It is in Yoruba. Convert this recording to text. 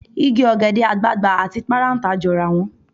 Igi ọ̀gẹ̀dẹ̀ àgbààgbà àti parántà jọra wọn.